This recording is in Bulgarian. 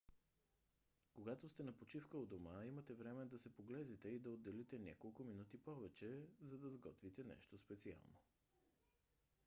когато сте на почивка у дома имате време да се поглезите и да отделите няколко минути повече за да сготвите нещо специално